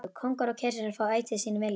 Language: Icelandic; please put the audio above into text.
Kóngar og keisarar fá ætíð sinn vilja.